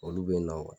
Olu bɛ na